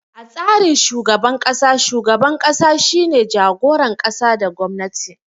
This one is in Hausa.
A tsarin shugaban kasa, shugaban ƙasa shine jagoran ƙasa da gwamnati.